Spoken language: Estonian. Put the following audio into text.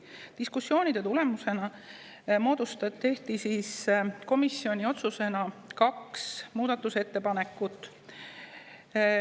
Diskussioonide tulemusena tehti komisjonis otsusena kaks muudatusettepanekut.